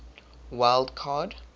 wild card